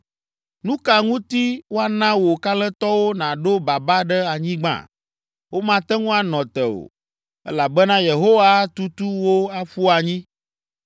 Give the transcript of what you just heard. Nu ka ŋuti woana wò kalẽtɔwo naɖo baba ɖe anyigba? Womate ŋu anɔ te o, elabena Yehowa atutu wo aƒu anyi.